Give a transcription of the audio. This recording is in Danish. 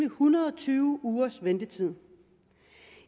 hundrede og tyve ugers ventetid